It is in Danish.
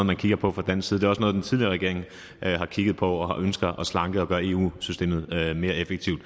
man kigger på fra dansk side det er også noget den tidligere regering har kigget på og den har ønsket at slanke og gøre eu systemet mere effektivt